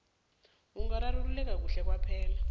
ungararululeka kuhle kwaphela